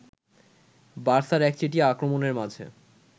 বার্সার একচেটিয়া আক্রমণের মাঝে